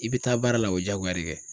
I bɛ taa baara la o ye jagoya de ye kɛ.